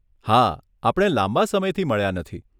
હા, આપણે લાંબા સમયથી મળ્યાં નથી.